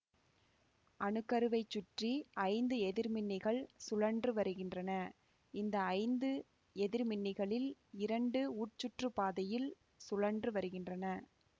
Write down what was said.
அணுக்கருவைச் சுற்றி ஐந்து எதிர்மின்னிகள் சுழன்று வருகின்றன இந்த ஐந்து எதிர்மின்னிகளில் இரண்டு உட்சுற்றுப்பாதையில் சுழன்று வருகின்றன